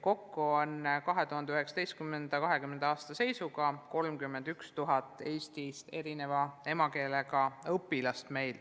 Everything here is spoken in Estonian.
Kokku on 2019/2020 õppeaasta seisuga meil 31 000 eesti keelest erineva emakeelega õpilast.